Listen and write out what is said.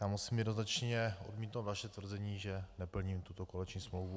Já musím jednoznačně odmítnout vaše tvrzení, že neplním tuto koaliční smlouvu.